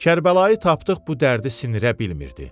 Kərbəlayı tapdıq bu dərdi sinirə bilmirdi.